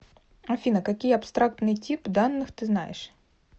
афина какие абстрактный тип данных ты знаешь